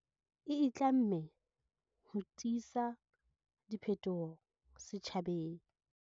E itlamme ho tisa diphetoho setjhabeng.